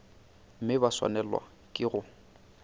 mme ba swanelwa ke go